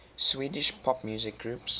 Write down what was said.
swedish pop music groups